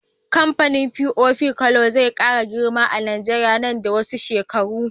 Kamfanin pop cola zai kara girma a nigeria nan da wasu shekaru